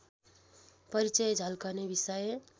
परिचय झल्कने विषय